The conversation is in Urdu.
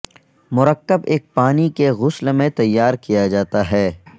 مرکب ایک پانی کے غسل میں تیار کیا جاتا ہے